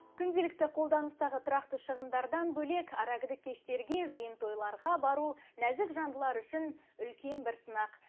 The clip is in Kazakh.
күнделікті қолданыстағы тұрақты шығындардан бөлек аракідік кештерге жиын тойларға бару нәзік жандылар үшін үлкен бір сынақ